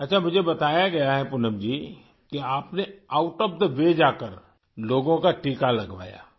اچھا! مجھے بتایا گیا ہے پونم جی کہ آپ نے آؤٹ آف دی وے جاکر لوگوں کا ٹیکہ لگوایا